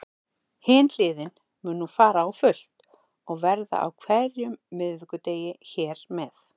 Hin hliðin mun nú fara á fullt og verða á hverjum miðvikudegi hér með.